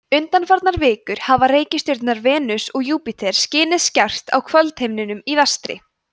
undanfarnar vikur hafa reikistjörnurnar venus og júpíter skinið skært á kvöldhimninum í vestri